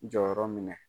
Jɔyɔrɔ minɛ